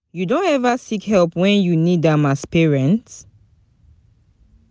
You don ever seek help when you need am as parent?